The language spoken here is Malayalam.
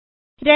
ചെയ്യാം